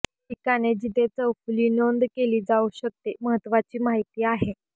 ठिकाणे जेथे चौफुली नोंद केले जाऊ शकते महत्वाची माहिती आहे